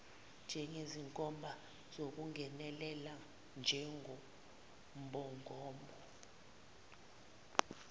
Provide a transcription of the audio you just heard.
njengezinkomba ngokungenelela kwenqubomgomo